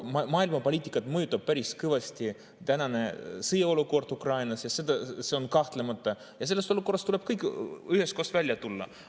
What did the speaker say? Maailmapoliitikat mõjutab päris kõvasti sõjaolukord Ukrainas – kahtlemata – ja sellest olukorrast tuleb kõigil üheskoos välja tulla.